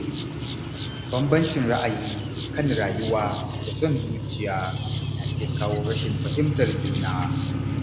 Bambancin ra’ayi kan rayuwa da son zuciya na iya kawo rashin fahimtar juna.